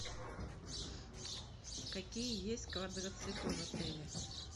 какие есть квадроциклы в отеле